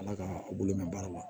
Ala ka a bolo mɛn baara la